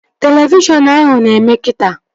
Televishọn ahụ na-eme kita